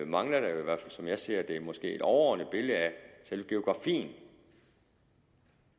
mangler der jo i hvert fald som jeg ser det måske et overordnet billede af selve geografien